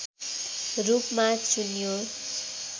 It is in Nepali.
रूपमा चुन्यो